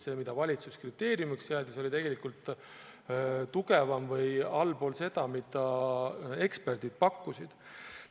See, mida valitsus kriteeriumiks seadis, oli tegelikult allpool seda, mida eksperdid pakkusid.